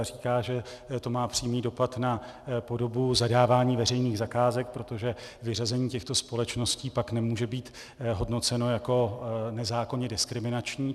A říká, že to má přímý dopad na podobu zadávání veřejných zakázek, protože vyřazení těchto společností pak nemůže být hodnoceno jako nezákonně diskriminační.